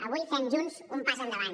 avui fem junts un pas endavant